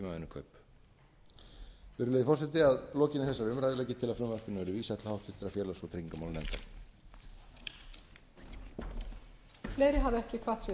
tímavinnukaup virðulegi forseti að lokinni þessari umræðu legg ég til að frumvarpinu verði vísað til háttvirtrar félags og tryggingamálanefndar